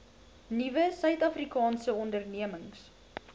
nuwe suidafrikaanse ondernemings